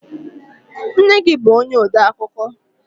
Nne gi bu onye odeakụkọ?